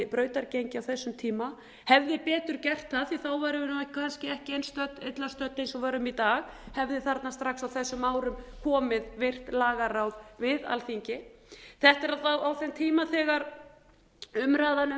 brautargengi á þessum tíma hefði betur gert það því þá værum við kannski ekki eins illa stödd eins og við erum í dag hefði þarna strax á þessum árum komið virt lagaráð við alþingi þetta er alla vega á þeim tíma þegar umræðan um